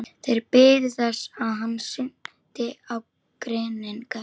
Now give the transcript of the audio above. Þeir biðu þess hann synti á grynningar.